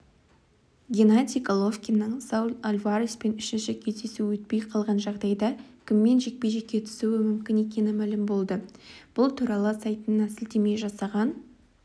геннадий головкиннің сауль альвареспен үшінші кездесуі өтпей қалған жайғдайда кіммен жекпе-жекке түсуі мүмкін екені мәлім болды бұл туралы сайтына сілтеме жасаған